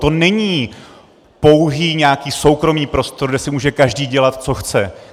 To není pouhý nějaký soukromý prostor, kde si může každý dělat, co chce.